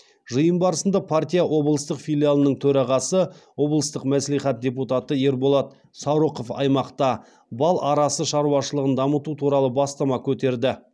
жиын барысында партия облыстық филиалының төрағасы облыстық мәслихат депутаты ерболат саурықов аймақта бал арасы шаруашылығын дамыту туралы бастама көтерді